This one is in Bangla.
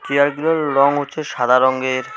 চেয়ারগুলোর রং হচ্ছে সাদা রংয়ের।